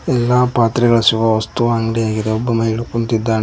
ಎಲ್ಲಾ ಪಾತ್ರೆಗಳ ಸಿಗುವ ವಸ್ತು ಅಂಗಡಿ ಆಗಿದೆ ಒಬ್ಬ ಮಹಿಳೆ ಕುಂತಿದ್ದಾಳೆ.